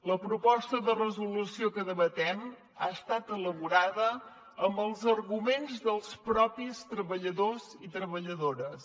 la proposta de resolució que debatem ha estat elaborada amb els arguments dels mateixos treballadors i treballadores